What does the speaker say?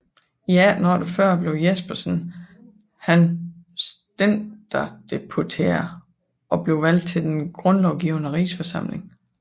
I 1848 blev Jespersen han stænderdeputeret og blev valgt til Den grundlovgivende Rigsforsamling